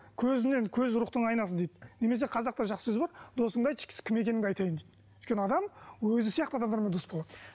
көзінен көз рухтың айнасы дейді немесе қазақта жақсы сөз бар досыңды айтшы кім екеніңді айтайын дейді өйткені адам өзі сияқты адамдармен дос болады